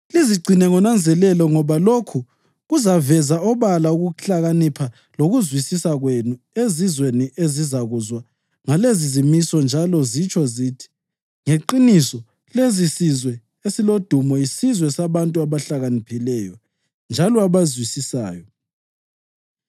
Lizigcine ngonanzelelo ngoba lokhu kuzaveza obala ukuhlakanipha lokuzwisisa kwenu ezizweni ezizakuzwa ngalezizimiso njalo zitsho zithi, ‘Ngeqiniso lesisizwe esilodumo yisizwe sabantu abahlakaniphileyo njalo abazwisisayo.’